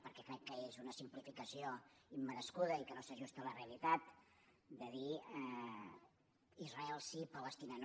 perquè crec que és una simplificació immerescuda i que no s’ajusta a la realitat dir israel sí palestina no